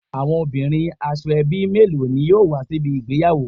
Awon omobirin Asoebi melo ni yoo wa si ibi igbeyawo